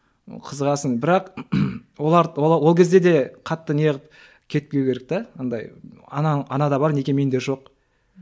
қызығасың бірақ олар ол кезде де қатты не қылып кетпеу керек те анадай ана анада бар неге менде жоқ